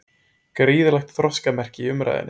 Gríðarlegt þroskamerki í umræðunni